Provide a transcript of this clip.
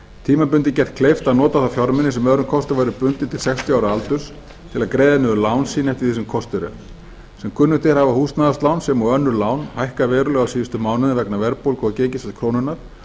tímabundið gert kleift að nota þá fjármuni sem öðrum kosti væru bundnir til sextíu ára aldurs til að greiða niður lán sín eftir því sem kostur er sem kunnugt er hafa húsnæðislán sem og önnur lán hækkað verulega á síðustu mánuðum vegna verðbólgu og gengisfalls krónunnar